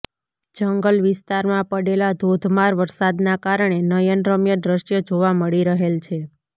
જંગલ વિસ્તારમાં પડેલા ધોધમાર વરસાદના કારણે નયનરમ્ય દ્રશ્ય જોવા મળી રહેલ છે